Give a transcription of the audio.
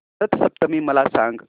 रथ सप्तमी मला सांग